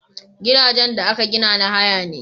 Gidajen da aka gina na haya ne